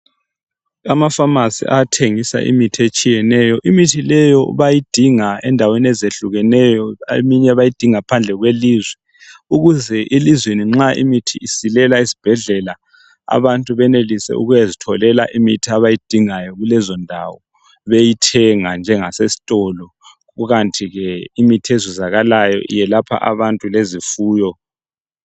Ama"pharmacy" ayathengisa imithi etshiyeneyo. Imithi leyo bayidinga endaweni ezehlukeneyo, eminye bayidinga phandle kwelizwe ukuze elizweni nxa imithi isilela esibhedlela abantu benelise ukuyazitholela imithi abayidingayo kulezondawo beyithenga njengasesitolo kukanti ke imithi ezuzakalayo iyelapha abantu lezifuyo.